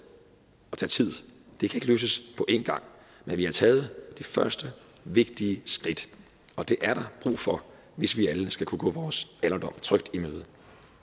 det kan ikke løses på én gang men vi har taget det første vigtige skridt og det er der brug for hvis vi alle skal kunne gå vores alderdom trygt i møde